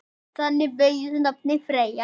Þannig beygist nafnið Freyja